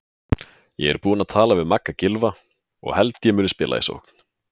Ég er búinn að tala við Magga Gylfa og held ég muni spila í sókn.